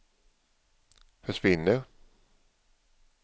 försvinner